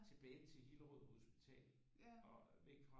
Tilbage til Hillerød hospital og væk fra